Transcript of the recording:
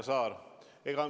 Härra Saar!